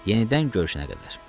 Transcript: Yenidən görüşənə qədər.